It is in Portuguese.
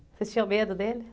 Vocês tinham medo dele?